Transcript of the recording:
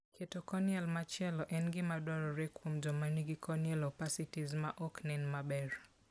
Keto corneal machielo en gima dwarore kuom joma nigi corneal opacities ma ok nen maber.